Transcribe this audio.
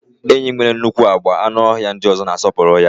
Enyí nwere nnukwu agba, anụ ọhịa ndị ọzọ na-asọpụrụ ya.